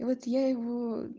и вот я его